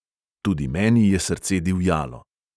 Tudi meni je srce divjalo.